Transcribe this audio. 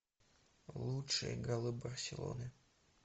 лучшие голы барселоны